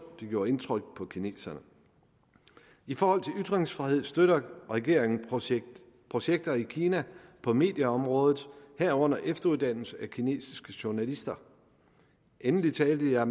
det gjorde indtryk på kineserne i forhold til ytringsfrihed støtter regeringen projekter projekter i kina på medieområdet herunder efteruddannelse af kinesiske journalister endelig talte jeg